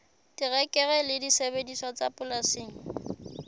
terekere le disebediswa tsa polasing